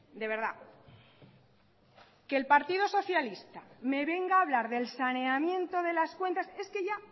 de verdad que el partido socialista me venga a hablar del saneamiento de las cuentas es que ya